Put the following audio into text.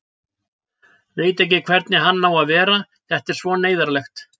Veit ekki hvernig hann á að vera, þetta er svo neyðarlegt.